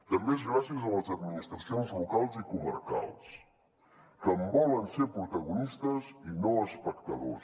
també és gràcies a les administracions locals i comarcals que en volen ser protagonistes i no espectadors